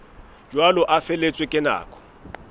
jwalo a feletswe ke nako